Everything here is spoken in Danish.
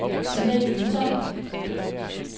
Tina Jønsson